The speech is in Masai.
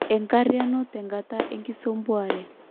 Enkariano tenkata enkisampuare